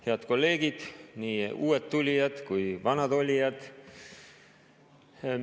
Head kolleegid, nii uued tulijad kui ka vanad olijad!